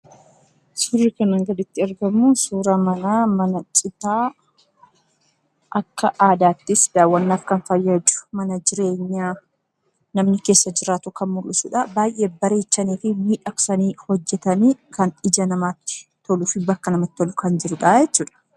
Suurri kanaa gaditti argamu suuraa manaa, mana citaa akka aadaattis daawwannaaf kan fayyadu mana jireenyaa namni keessa jiraatu kan mul'isuudha. Baay'ee bareechanii fi miidhagsanii hojjetanii kan ija namaatti toluu fi bakka namatti tolu kan jiruudha jechuudha.